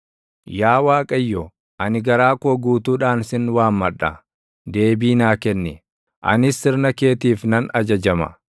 Yaa Waaqayyo, ani garaa koo guutuudhaan sin waammadha; deebii naa kenni; anis sirna keetiif nan ajajama.